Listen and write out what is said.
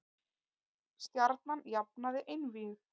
Stjarnan jafnaði einvígið